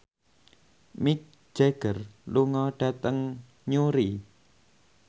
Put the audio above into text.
Mick Jagger lunga dhateng Newry